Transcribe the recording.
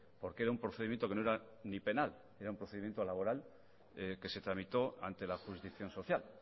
porque era un procedimiento que no era ni penal era un procedimiento laboral que se tramitó ante la jurisdicción social